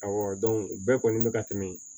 o bɛɛ kɔni bɛ ka tɛmɛ